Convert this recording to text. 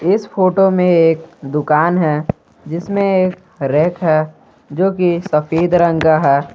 इस फोटो में एक दुकान है जिसमें एक रैक है जो की सफेद रंग का है।